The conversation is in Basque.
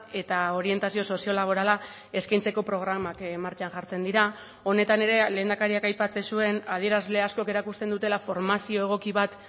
eta orientazio sozio laborala eskaintzeko programak martxan jartzen dira honetan ere lehendakariak aipatzen zuen adierazle askok erakusten dutela formazio egoki bat